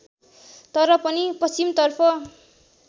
तर पनि पश्चिमतर्फ